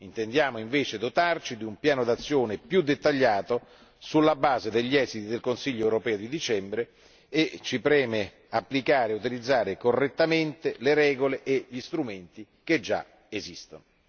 Intendiamo invece dotarci di un piano d'azione più dettagliato sulla base degli esiti del Consiglio europeo di dicembre, preoccupandoci di applicare e utilizzare correttamente regole e strumenti esistenti.